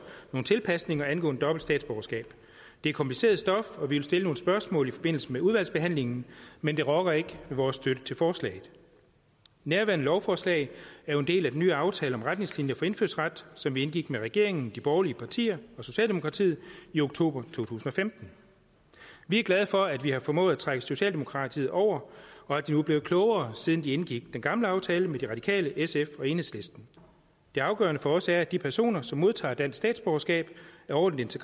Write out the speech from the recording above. nogle tilpasninger angående dobbelt statsborgerskab det er kompliceret stof og vi vil stille nogle spørgsmål i forbindelse med udvalgsbehandlingen men det rokker ikke ved vores støtte til forslaget nærværende lovforslag er jo en del af den nye aftale om retningslinjer for indfødsret som vi indgik med regeringen de borgerlige partier og socialdemokratiet i oktober to tusind og femten vi er glade for at vi har formået at trække socialdemokraterne over og at de er blevet klogere siden de indgik den gamle aftale med de radikale sf og enhedslisten det afgørende for os er at de personer som modtager dansk statsborgerskab er ordentligt